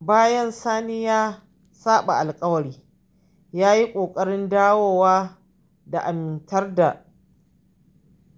Bayan Sani ya saɓa alƙawari, ya yi ƙoƙarin dawo da amintar da